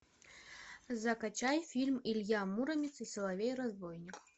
закачай фильм илья муромец и соловей разбойник